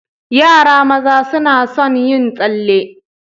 Yara maza suna sun yin tsalle.